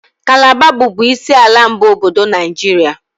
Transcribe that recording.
Kalaba bụbu isi ala mbụ obodo Naijiria.